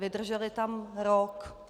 Vydrželi tam rok.